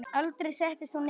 Aldrei settist hún niður.